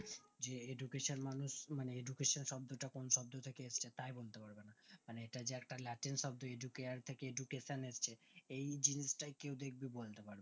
যে education মানুষ মানে education শব্দ তা কোন শব্দ থেকে এসেছে তা বলতে পারবেনা তা বলতে পারবে না ইটা যে একটা latin শব্দ edu care থেকে education এসেছে এই জিনিসটা কেও দেখবে বল